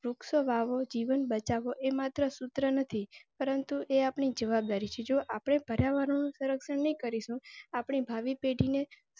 વૃક્ષો વાવો જીવન બચાવો એ માત્ર સૂત્ર નથી, પરંતુ એ આપણી જવાબદારી છે. જો આપણે પર્યાવરણ નું સંરક્ષણ નહિ કરીશું આપણી ભાવી પેઢીને.